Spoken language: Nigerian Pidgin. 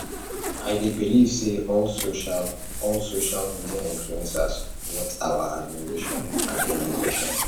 i dey believe say not all social all social media influencers worth our admiration and emulation